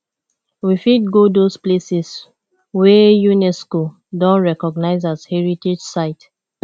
we fit go those places wey unesco don recognise as heritage site